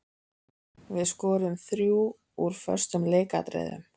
Við skoruðum þrjú úr föstum leikatriðum.